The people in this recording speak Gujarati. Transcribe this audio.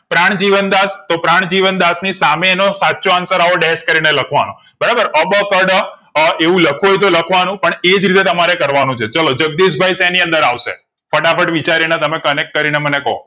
પ્રાણજીવનદશ તો પ્રાણજીવનદશ ની સામે એનો સચો answer આવો ડેસ કરી ને લખવા નો બરાબર અ બ ક ડ એવું લખવું હોય તો લાખ વાનું પણ એ જ રીતે તમારે કર વા નું છે ચાલો જગદીશભાઈ શેની અંદર આવશે ફટાફટ વિચારી ને તમે connect કરી ને મને કો